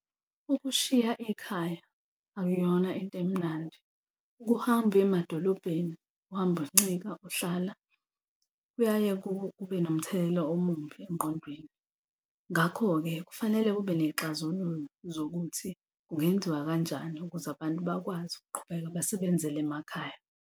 Ukushiya ikhaya akuyona into emnandi. Ukuhamba uye emadolobheni uhamba uncika ohlala kuyaye kube nomthelelo omumbi engqondweni, ngakho-ke kufanele kube ney'xazululo zokuthi kungenziwa kanjani ukuze abantu bakwazi ukuqhubeka basebenzele emakhaya.